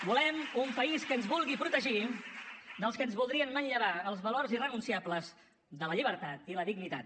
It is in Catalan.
volem un país que ens vulgui protegir dels que ens voldrien manllevar els valors irrenunciables de la llibertat i la dignitat